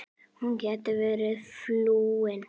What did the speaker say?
Hún gæti verið flúin.